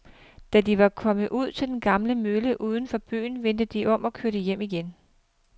Da de var kommet ud til den gamle mølle uden for byen, vendte de om og kørte hjem igen.